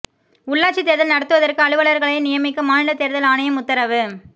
உள்ளாட்சித் தேர்தல் நடத்துவதற்கு அலுவலர்களை நியமிக்க மாநில தேர்தல் ஆணையம் உத்தரவு